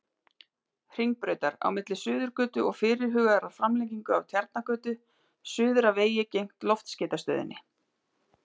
Hringbrautar, á milli Suðurgötu og fyrirhugaðrar framlengingu af Tjarnargötu, suður að vegi gegnt Loftskeytastöðinni.